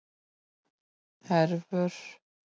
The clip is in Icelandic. Hervör